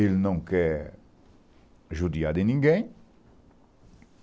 Ele não quer judiar de ninguém.